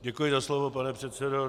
Děkuji za slovo, pane předsedo.